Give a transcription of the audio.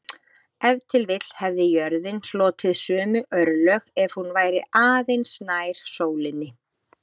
Ef til vill hefði jörðin hlotið sömu örlög ef hún væri aðeins nær sólinni.